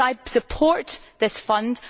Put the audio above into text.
I support this fund.